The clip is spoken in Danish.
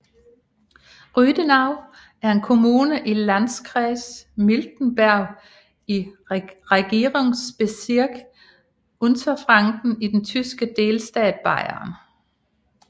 Rüdenau er en kommune i Landkreis Miltenberg i Regierungsbezirk Unterfranken i den tyske delstat Bayern